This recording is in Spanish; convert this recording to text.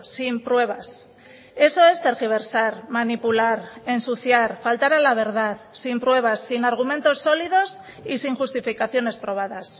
sin pruebas eso es tergiversar manipular ensuciar faltar a la verdad sin pruebas sin argumentos sólidos y sin justificaciones probadas